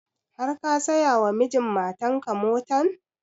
Har ka saya wa mijin matan ka motan?